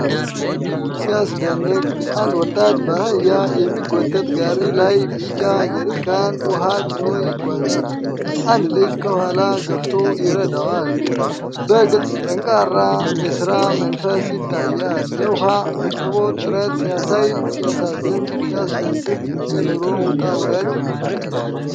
ሲያስደንቅ! አንድ ወጣት በአህያ የሚጎተት ጋሪ ላይ ቢጫ ጀሪካን ውሃ ጭኖ ይጓዛል። አንድ ልጅ ከኋላ ገፍቶ ይረዳል። በግልጽ ጠንካራ የሥራ መንፈስ ይታያል። የውሃ አቅርቦት ጥረት ሲያሳይ ሲያሳዝን! ሲያስደስት! የኑሮ ውጣ ውረድ!